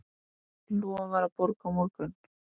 Lofar að borga á morgun.